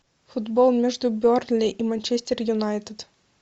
футбол между бернли и манчестер юнайтед